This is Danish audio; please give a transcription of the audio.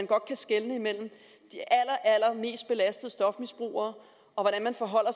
godt skelne mellem de allermest belastede stofmisbrugere og hvordan man forholder